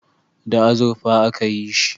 Da azurfa a ka yi shi